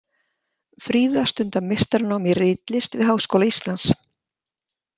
Fríða stundar meistaranám í ritlist við Háskóla Íslands.